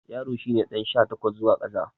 Yaro shi ne ɗan sha takwas zuwa ƙasa.